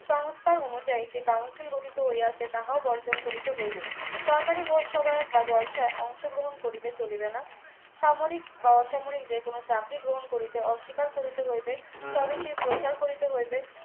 সংস্থার অনুযায়ী যে council গঠিত হইয়াছে তাহাও বর্জন করিতে হইবে সরকারি পস্যাগার বা জলসায় অংশগ্রহণ করিলে চলিবে না সামরিক বা অসামরিক যেকোনো চাকরি গ্রহণ করিতে অস্বীকার করিতে হইবে স্বদেশীর প্রচার করিতে হইবে